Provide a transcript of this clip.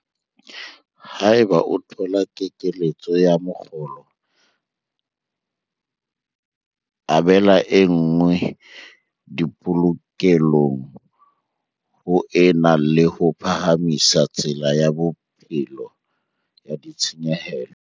Haeba o thola kekeletso ya mokgolo, abela e nngwe dipolokelong ho e na le ho phahamisa tsela ya bophelo ya ditshenyehelo.